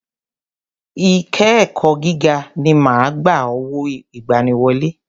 I ké ẹ̀kọ́ gíga mi ma ń gba owó ìgbaniwọlé.